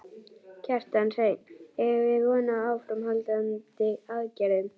Kjartan Hreinn: Eigum við von á áframhaldandi aðgerðum?